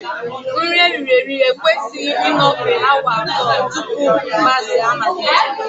Nri eriri eri ekwesịghị ịnọfe awa abụọ tupu mgbaze amalite